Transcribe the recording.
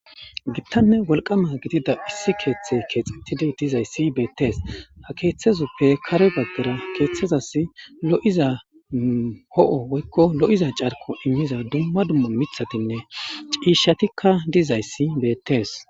gittanne wolqama gidida issi keeththe keexettidi dizayssi beettees ha keeththezuppe kare baggara keeththazas lo7iza ho7o woykko lo7iza carko inniza dumma dumma mithatinne ciishatikka dizayssi beettees